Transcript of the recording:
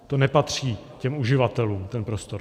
To nepatří těm uživatelům, ten prostor.